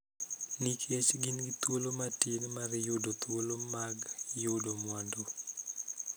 Nikech gin gi thuolo matin mar yudo thuolo mag yudo mwandu.